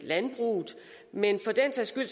landbruget men